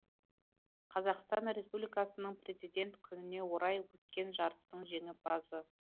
қазақстан республикасының президент күніне орай өткен жарыстың жеңімпазы